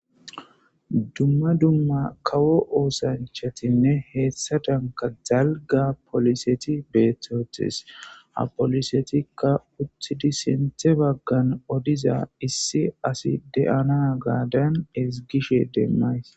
Dumma dumma kawo oosanchatinne hessadanka dalgga poliseti beetetes ha polisetikka uttidi sinthe baggan odiza issi asi de'anagadan ezgishe demays.